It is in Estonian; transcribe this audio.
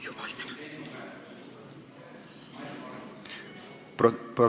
Jumal tänatud!